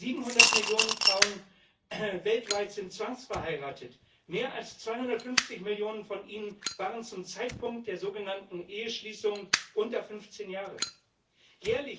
700 Millionen Frauen weltweit sind zwangsverheiratet, mehr als 250 Millionen von ihnen waren zum Zeitpunkt der sogenannten Eheschließung unter 15 Jahre alt.